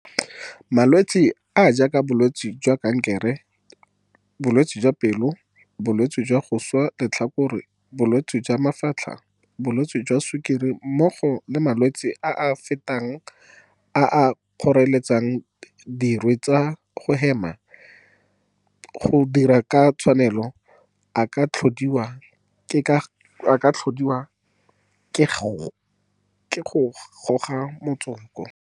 Malwetse a a jaaka bolwetse jwa kankere, bolwetse jwa pelo, bolwetse jwa go swa letlhakore, bolwetse jwa mafatlha, bolwetse jwa sukiri mmogo le malwetse a a fetelang a a kgoreletsang dirwe tsa go hema go dira ka tshwanelo a ka tlhodiwa ke go goga motsoko.